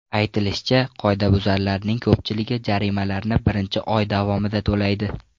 Aytilishicha, qoidabuzarlarning ko‘pchiligi jarimalarni birinchi oy davomida to‘laydi.